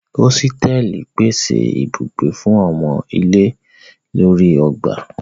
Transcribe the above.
Osteli pese ibugbe fun omo ile lori ogba.